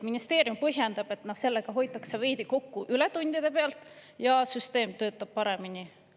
Ministeerium põhjendab, et sellega hoitakse veidi kokku ületundide pealt ja süsteem töötab paremini.